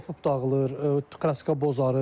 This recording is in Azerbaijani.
Qopub dağılır, kraska bozarır.